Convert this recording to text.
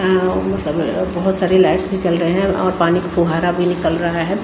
यहां वो मतलब बहुत सारे लाइट्स भी जल रहे हैं और पानी का फव्वारा भी निकल रहा है।